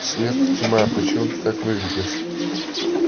свет тьма почему ты так выглядишь